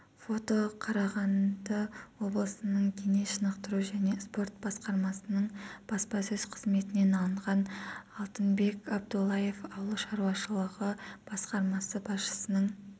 фото қарағанды облысының дене шынықтыру және спорт басқармасының баспасөз-қызметінен алынған алтынбек абдуллаев ауыл шаруашылығы басқармасы басшысының